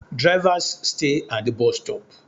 Drivers stay at the bus stop